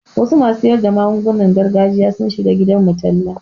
Wasu masu siyar da magungunan gargajiya sun shiga gidanmu talla.